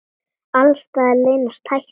Alls staðar leynast hættur.